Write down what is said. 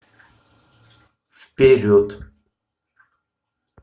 вперед